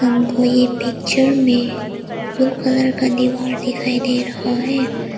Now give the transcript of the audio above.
हमको ये पिक्चर में ब्लू कलर का दीवार दिखाई दे रहा है।